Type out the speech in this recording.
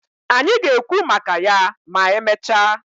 Anyị ga-ekwu maka ya ma emechaa.